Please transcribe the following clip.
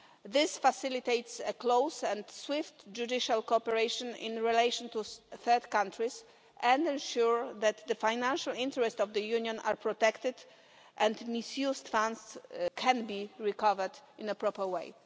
This facilitates close and swift judicial cooperation in relation to third countries and ensures that the financial interests of the Union are protected and misused funds can be recovered in a proper way.